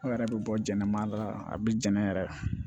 Aw yɛrɛ bɛ bɔ jɛnɛma la a bɛ jɛn yɛrɛ